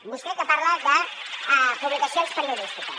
vostè que parla de publicacions periodístiques